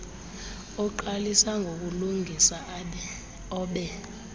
oqalisa ngokulungisa obe